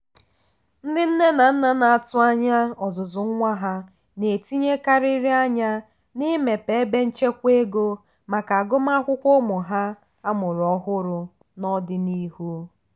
ndị nne na nna na-atụ anya ọzụzụ nwa ha na-etinyekarịrị anya n'imepe ebe nchekwa ego maka agụmakwụkwọ ụmụ ha amụrụ ọhụrụ n'ọdịnihu.